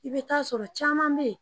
I bɛ t"a sɔrɔ caman bɛ yen